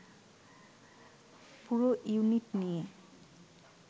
পুরো ইউনিট নিয়ে